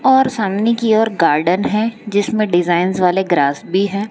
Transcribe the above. और सामने की ओर गार्डन है जिसमें डिजाइंस वाले ग्रास भी है।